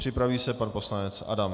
Připraví se pan poslanec Adam.